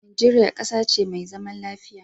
Nigeria ƙasa ce me zaman lafiya